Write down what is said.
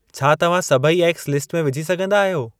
छा तव्हां सभई एग्गस लिस्ट में विझी सघंदा आहियो?